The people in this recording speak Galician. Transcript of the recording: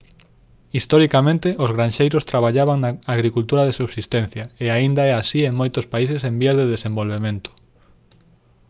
historicamente os granxeiros traballaban na agricultura de subsistencia e aínda é así en moitos países en vías de desenvolvemento